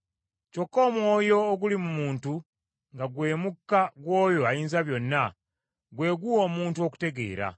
Kyokka omwoyo oguli mu muntu, nga gwe mukka gw’oyo Ayinzabyonna, gwe guwa omuntu okutegeera.